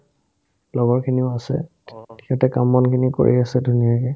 লগৰখিনিও আছে সিহঁতে কাম-বনখিনি কৰি আছে ধুনীয়াকে